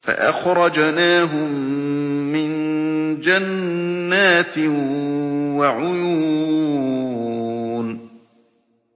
فَأَخْرَجْنَاهُم مِّن جَنَّاتٍ وَعُيُونٍ